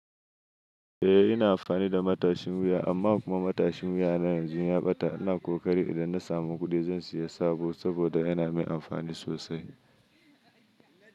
Eh ina amfani da matashin wuya amma kuma matashin wuya na yanzu ya ɓata. Ina kokari idan na samu kuɗi zan siya sabo saboda yana min amfani sosai.